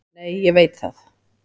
Nei, ég veit það.